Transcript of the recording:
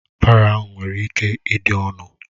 Baro ahụ nwere ike ịdị ọnụ